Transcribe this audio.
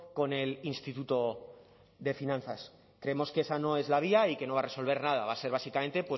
con el instituto de finanzas creemos que esa no es la vía y que no va a resolver nada va a ser básicamente